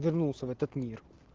вернулся в этот мир